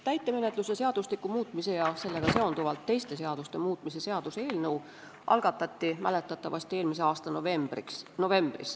Täitemenetluse seadustiku muutmise ja sellega seonduvalt teiste seaduste muutmise seaduse eelnõu algatati mäletatavasti eelmise aasta novembris.